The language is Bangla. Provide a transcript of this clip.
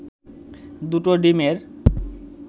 দুটো ডিমের